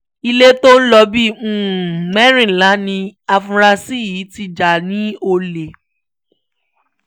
ilé tó ń lọ bíi mẹ́rìnlá ni àfúrásì yìí ti já lólè